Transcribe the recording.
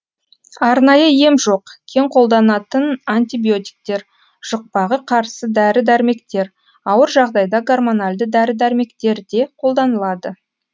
арнайы ем жоқ кең қолданатын антибиотиктер жұқпағы қарсы дәрі дәрмектер ауыр жағдайда гормональді дәрі дәрмектер де қолданылады